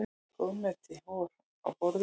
Ýmislegt góðmeti var á borðum.